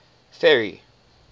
ferry